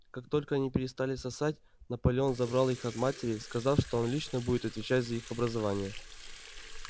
как только они перестали сосать наполеон забрал их от матери сказав что он лично будет отвечать за их образование